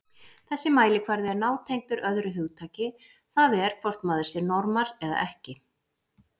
Þessi mælikvarði er nátengdur öðru hugtaki, það er hvort maður sé normal eða ekki.